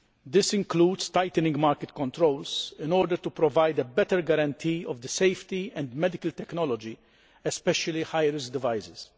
This includes tightening market controls, in order to provide a better guarantee of the safety of medical technology, especially high risk devices.